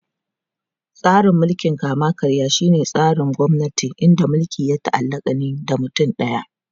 Tsarin mulkin kama-karya shine tsarin gwamnati inda mulki ya ta'allaka ne da mutum daya.